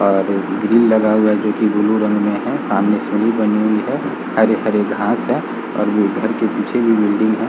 और ग्रिल लगा हुआ है जो कि ब्लू रंग में है | सामने पुली बनी हुई | हरे हरे घास हैं और ये घर के पीछे भी बिल्डिंग है |